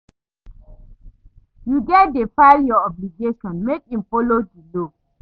Yu gats dey file yur obligations mek im follow di law.